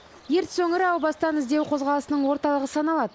ертіс өңірі әу бастан іздеу қозғалысының орталығы саналады